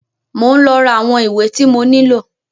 Mọ ń lọ rà àwọn ìwé tí mo nílò.